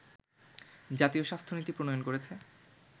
জাতীয় স্বাস্থ্য নীতি প্রণয়ন করেছে